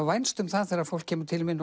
vænst um það þegar fólk kemur til mín